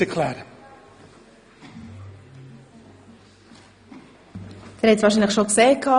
Sie haben es wahrscheinlich bereits gesehen: